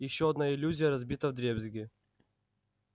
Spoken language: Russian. ещё одна иллюзия разбита вдребезги